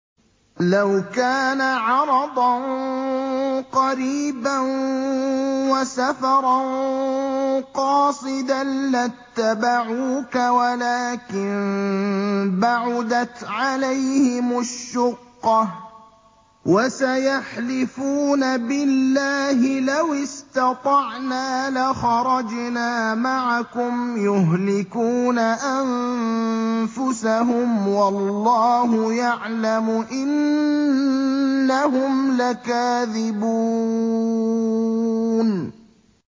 لَوْ كَانَ عَرَضًا قَرِيبًا وَسَفَرًا قَاصِدًا لَّاتَّبَعُوكَ وَلَٰكِن بَعُدَتْ عَلَيْهِمُ الشُّقَّةُ ۚ وَسَيَحْلِفُونَ بِاللَّهِ لَوِ اسْتَطَعْنَا لَخَرَجْنَا مَعَكُمْ يُهْلِكُونَ أَنفُسَهُمْ وَاللَّهُ يَعْلَمُ إِنَّهُمْ لَكَاذِبُونَ